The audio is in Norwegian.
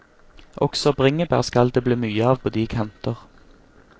Også bringebær skal det bli mye av på de kanter.